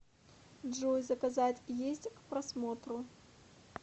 джой заказать есть к просмотру